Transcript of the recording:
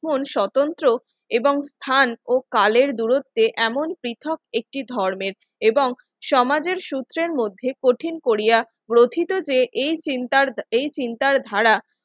কোন স্বতন্ত্র এবং স্থান ও কালের দূরত্বে এমন পৃথক একটি ধর্মের এবং সমাজের সূত্রের মধ্যে কঠিন করিয়া গথিত যে এই চিন্তার ধারা